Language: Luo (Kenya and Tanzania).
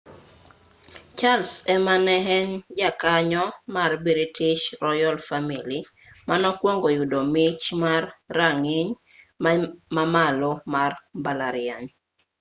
charles ema ne en jakanyo mar british royal family manokwongo yudo mich mar rang'iny ma malo mar mbalariany